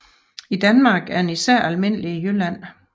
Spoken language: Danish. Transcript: I Danmark er den især almindelig i Jylland